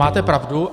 Máte pravdu.